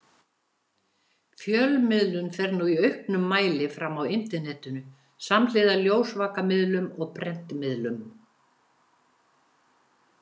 Fjölmiðlun fer nú í auknum mæli fram á Internetinu, samhliða ljósvakamiðlum og prentmiðlum.